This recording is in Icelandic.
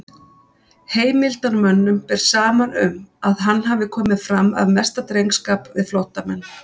Heimildarmönnum ber saman um, að hann hafi komið fram af mesta drengskap við flóttamenn.